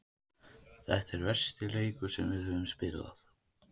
Þetta er versti leikur sem við höfum spilað.